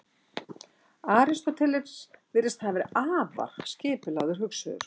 Aristóteles virðist hafa verið afar skipulagður hugsuður.